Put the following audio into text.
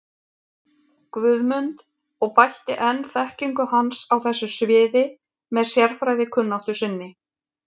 Guðmund og bætti enn þekkingu hans á þessu sviði með sérfræðikunnáttu sinni.